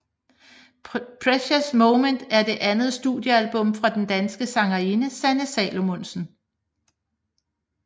Precious Moments er det andet studiealbum fra den danske sangerinde Sanne Salomonsen